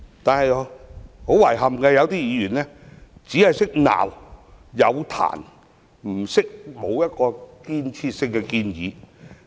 不過，遺憾的是，有議員只懂批評，卻沒有提出具建設性的建議。